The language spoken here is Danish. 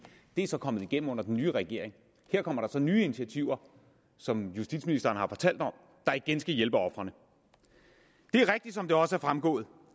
det er så kommet igennem under den nye regering her kommer der så nye initiativer som justitsministeren har talt om der igen skal hjælpe ofrene det er rigtigt som det også er fremgået